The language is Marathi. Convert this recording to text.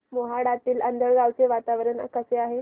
मोहाडीतील आंधळगाव चे वातावरण कसे आहे